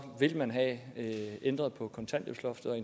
vil have ændret på kontanthjælpsloftet